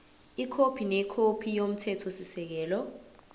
ikhophi nekhophi yomthethosisekelo